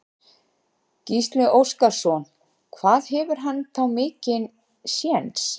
Gísli Óskarsson: Hvað hefur hann þá mikinn séns?